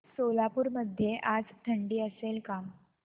सोलापूर मध्ये आज थंडी असेल का